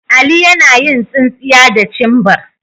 Ali yana yin tsinsinya da cimbar.